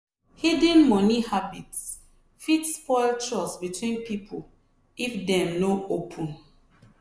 hidden money habits fit spoil trust between people if dem no open.